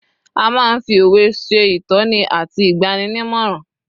a ma n fi òwe se itoni ati igbaninimoran